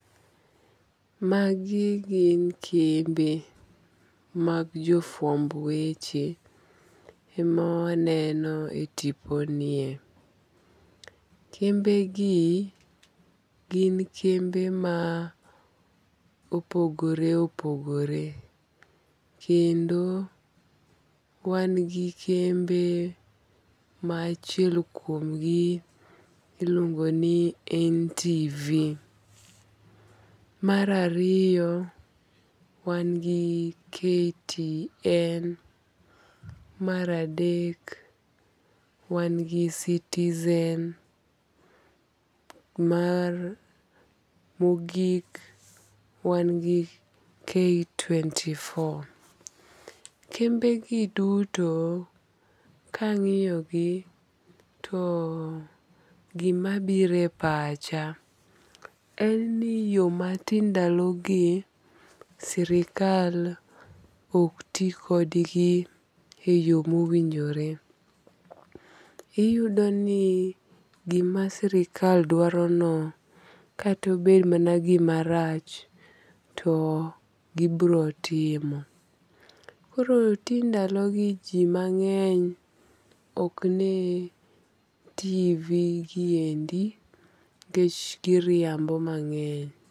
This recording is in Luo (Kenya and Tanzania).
Magi gin kembe mag jo fwamb weche ema waneno e tipo nie. Kembe gi gin kembe ma opogore opogore. Kendo wan gi kembe ma achiel kuom gi iluongo ni NTV. Mar ariyo wan gi KTN. Mar adek wan gi Citizen. Mar mogik wan gi K24. Kembe gi duto kang'iyo gi to gima biro e pacha en ni yo ma ti ndalogi sirkal ok ti kod gi e yo mowinjore. Iyudo ni gima sirkal dwaro no kato bed gima rach to gibiro timo. Koro ti ndalogi ji mang'eny ok ne TV giendi nikech giriambo mang'eny.